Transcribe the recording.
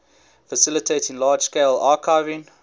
facilitating large scale archiving